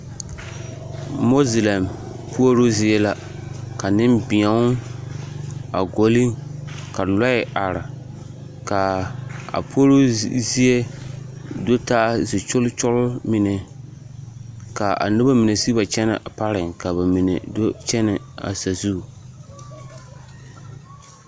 Moozelɛm puoroo zie la ka nembēo a ɡɔle ka lɔɛ are ka a puoroo zie do taa zikyolkyol mine ka a noba mine siɡi wa kyɛnɛ a pareŋ ka ba mine do kyɛnɛ a sazu.